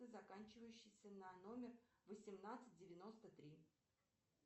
заканчивающийся на номер восемнадцать девяносто три